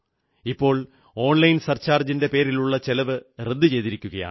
ഇപ്പോൾ online surcharge റദ്ദു ചെയ്തിരിക്കുന്നു